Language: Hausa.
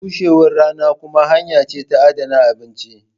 bushewar rana kuma hanya ce ta adana abinci.